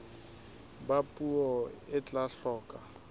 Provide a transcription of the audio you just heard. ba puo e tla hloka